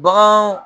Bagan